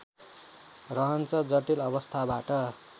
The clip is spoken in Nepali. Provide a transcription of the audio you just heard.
रहन्छ जटिल अवस्थाबाट